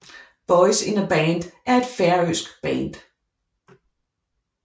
Boys In A Band er et færøsk band